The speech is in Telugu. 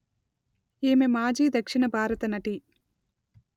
ఈమె మాజీ దక్షిణ భారత నటి